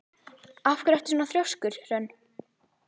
Af hverju ertu svona þrjóskur, Hrönn?